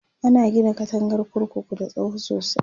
ana Gina katangar kurkuku da tsawo sosai